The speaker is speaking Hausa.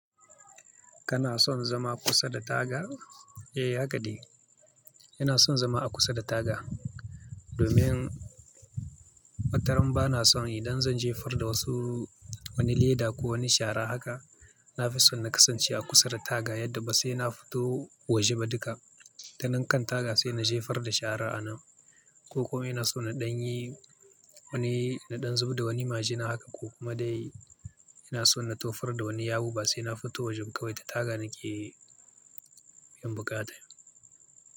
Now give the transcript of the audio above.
Kana son zama kusa da taga? Eh haka dai, ina son zama a kusa da taga domin wataran ba na son idan zan jefar da wasu wani leda ko wani shara haka, na fi son na kasance a kusa da taga yadda ba sai na fito waje ba duka. Ta nan kan taga sai na jefar da shara ana. Ko kuma ina so na ɗan yi wani na ɗan zub da wani majina haka ko kuma dai ina so na tofar da wani yawu ba sai na fito wajen kawai ta taga nake biyan buƙata.